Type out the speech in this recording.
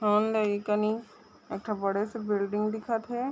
ओने एकनि एकठो बड़े -सॆ बिल्डिंग दिखत है।